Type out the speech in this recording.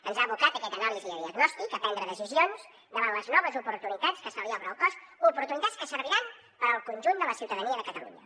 ens han abocat aquesta anàlisi i aquest diagnòstic a prendre decisions davant les noves oportunitats que se li obren al cos oportunitats que serviran per al conjunt de la ciutadania de catalunya